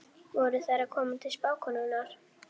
Steinar, hvenær kemur leið númer tuttugu og sex?